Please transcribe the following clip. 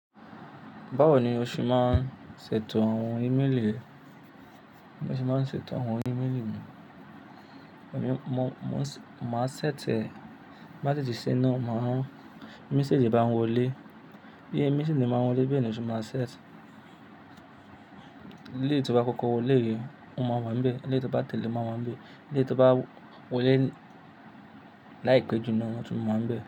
Báwo ni o ṣe máa ń ṣètò àwọn ímélì rẹ? Bi mo ṣe máa ń ṣètò àwọn ímélì mi, mo máa ṣẹ́ti e, bá ti di sẹ́ńà, mẹ̀séjì bá wọlé, bí ẹ́ mẹ̀séjì máa wọlé bẹ́ẹ̀ ni ó ṣe máa ṣẹ̀tì. Élèyi tí o bá kókó wọlé o máa wa n bẹ́ẹ̀, élèyi tí o bá tẹ̀lé máa wa n bẹ́ẹ̀, élèyi tí o bá wọlé láì pé ju náà tún máa wọ́n bẹ́ẹ̀